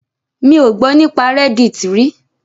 Mi ò gbọ́ nípa reddit rí.